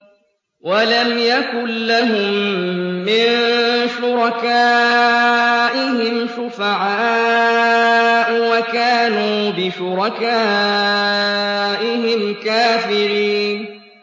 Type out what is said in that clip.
وَلَمْ يَكُن لَّهُم مِّن شُرَكَائِهِمْ شُفَعَاءُ وَكَانُوا بِشُرَكَائِهِمْ كَافِرِينَ